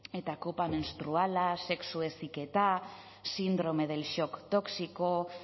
eta kopa menstruala sexu heziketa síndrome del shock tóxico